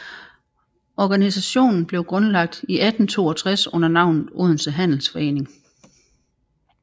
Organisationen blev grundlagt i 1862 under navnet Odense Handelsforening